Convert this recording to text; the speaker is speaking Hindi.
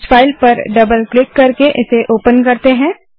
इस फाइल पर डबल क्लिक करके ओपन करते हैं